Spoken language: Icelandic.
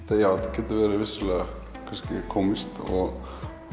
getur verið vissulega kannski kómískt og